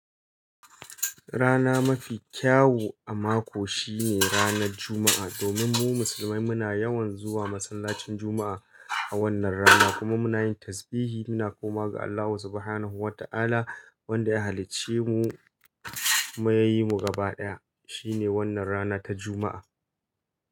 Rana mafi kyawu a mako shine rana Juma'a. Domin mu musulmai muna yawan zuwa masallacin Juma'a a wannan rana kuma muna yin tasbihi. Muna komawa ga Allah Subhanahu wa ta'ala wanda ya halicce mu kuma ya yi mu gaba ɗaya. Shine wannan rana ta Juma'a.